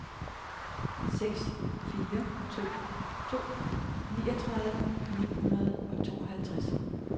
seks fire to to niogtredive ni hundrede og tooghalvtreds